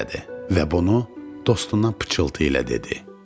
Və bunu dostuna pıçıltı ilə dedi.